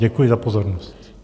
Děkuji za pozornost.